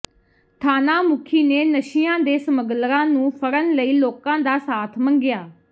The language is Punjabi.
ਥਾਣਾ ਮੁੱਖੀ ਨੇ ਨਸ਼ਿਆਂ ਦੇ ਸਮੱਗਲਰਾਂ ਨੂੰ ਫੜਣ ਲਈ ਲੋਕਾਂ ਦਾ ਸਾਥ ਮੰਗਿਆ